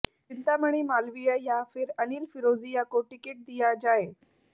चिंतामणि मालवीय या फिर अनिल फिरोजिया को टिकट दिया जाए